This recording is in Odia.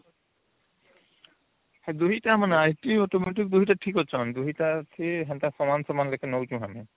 ସେ ଦୁଇଟା ମାନେ IT ଆଉ automotive ଦୁଇଟା ଠିକ ଅଛି ଦୁଇଟା ସମାନ ସମାନ ଲେଖେ ନାଉଛନ